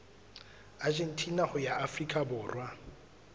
argentina ho ya afrika borwa